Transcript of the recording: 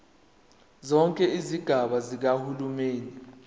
zonke izigaba zikahulumeni